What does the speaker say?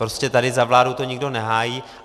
Prostě tady za vládu to nikdo nehájí.